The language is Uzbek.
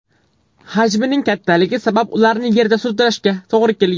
Hajmining kattaligi sabab ularni yerda sudrashga to‘g‘ri kelgan.